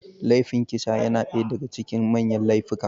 Laifin kisa yana ɗaya daga cikin manyan laifika